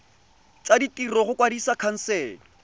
tsa ditiro go kwadisa khansele